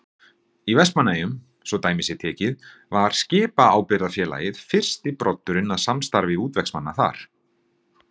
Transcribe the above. Í Vestmannaeyjum, svo dæmi sé tekið, var Skipaábyrgðarfélagið fyrsti broddurinn að samstarfi útvegsmanna þar.